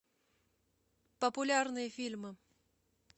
популярные фильмы